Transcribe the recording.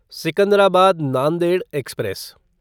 Secunderabad Nanded express